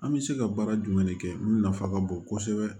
An bɛ se ka baara jumɛn de kɛ mun nafa ka bon kosɛbɛ